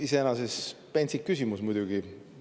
Iseenesest pentsik küsimus muidugi.